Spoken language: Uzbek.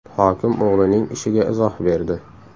Hokim o‘g‘lining ishiga izoh berdi.